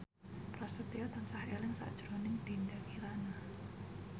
Prasetyo tansah eling sakjroning Dinda Kirana